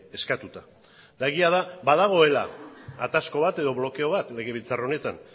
eskatuta eta egia da badagoela atasko bat edo blokeo bat legebiltzar honetan